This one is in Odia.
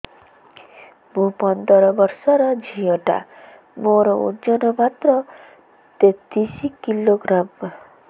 ମୁ ପନ୍ଦର ବର୍ଷ ର ଝିଅ ଟା ମୋର ଓଜନ ମାତ୍ର ତେତିଶ କିଲୋଗ୍ରାମ